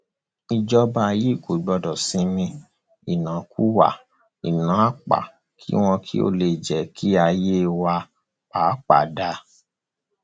ìjọba yìí gbọdọ sinmi ìnákúwà ináapá kí wọn lè jẹ kí ayé wa pàápàá dáa